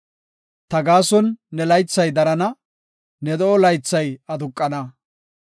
Ta gaason ne laythay darana; ne de7o laythay aduqana.